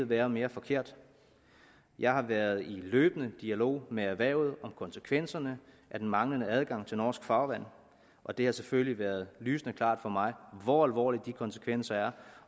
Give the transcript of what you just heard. være mere forkert jeg har været i løbende dialog med erhvervet om konsekvenserne af den manglende adgang til norsk farvand og det har selvfølgelig være lysende klart for mig hvor alvorlige de konsekvenser er